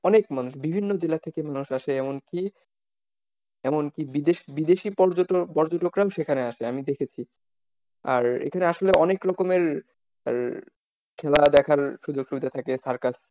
অনেক মানুষ বিভিন্ন জেলা থেকে মানুষ আসে এমনক এমনকি বিদেশী পর্যটকরাও সেখানে আসে আমি দেখেছি। আর এখানে আসলে অনেক রকমের খেলা দেখার সুযোগসুবিধা থাকে circus,